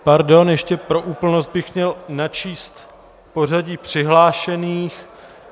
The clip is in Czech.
Pardon, ještě pro úplnost bych měl načíst pořadí přihlášených.